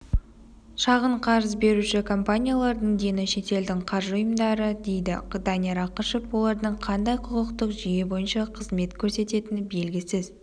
шағын қарыз беруші компаниялардың дені шетелдің қаржы ұйымдары дейді данияр ақышев олардың қандай құқықтық жүйе бойынша қызмет көрсететіні белгісіз